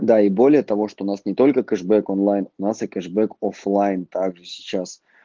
да и более того что у нас не только кэшбэк онлайн у нас и кэшбэк оффлайн также сейчас